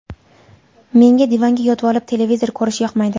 Menga divanga yotvolib, televizor ko‘rish yoqmaydi”.